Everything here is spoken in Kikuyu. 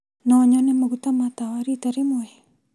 No nyone maguta ma tawa rita imwe?